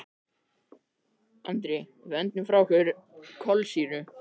Andri: Við öndum frá okkur kolsýru.